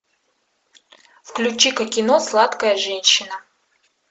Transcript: включи ка кино сладкая женщина